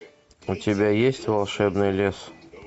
у тебя есть волшебный лес